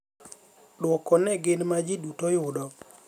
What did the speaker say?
Duoko ne gin ma ji duto yudo